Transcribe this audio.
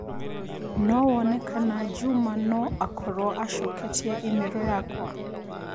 no wone kana Juma no a korũo acoketie i-mīrū yakwa